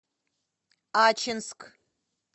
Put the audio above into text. ачинск